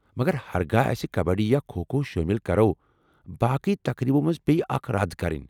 مگر ہرگاہ اَسہِ کبڈی یا کھو کھو شٲمل کرو، باقٕے تقریٖبو منٛزٕ پیٚیہ اکھ رد کرٕنۍ ۔